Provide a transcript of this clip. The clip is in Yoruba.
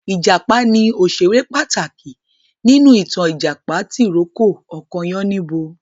Ìjàpá ni òṣèré pàtàkì nínú ìtàn Ìjàpá tì rókò ọkọ Yáníbo